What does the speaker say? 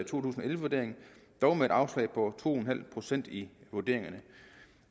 tusind og elleve vurdering dog med et afslag på to en halv procent i vurderingerne